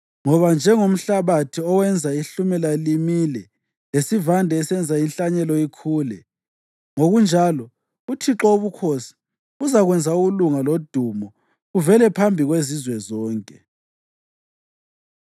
Ngoba njengomhlabathi owenza ihlumela limile, lesivande esenza inhlanyelo ikhule, ngokunjalo uThixo Wobukhosi uzakwenza ukulunga lodumo kuvele phambi kwezizwe zonke.